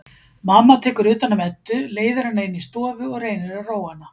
Mamma tekur utan um Eddu, leiðir hana inn í stofu og reynir að róa hana.